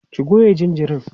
ki Goya jinjirin!